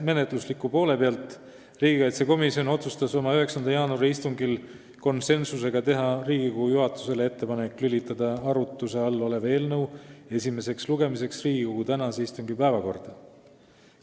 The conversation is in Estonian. Menetlusliku poole pealt, riigikaitsekomisjon otsustas oma 9. jaanuari istungil teha Riigikogu juhatusele ettepaneku lülitada arutluse all olev eelnõu esimeseks lugemiseks Riigikogu tänase istungi päevakorda.